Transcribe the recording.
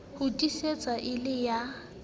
ho tiisetswa e le ya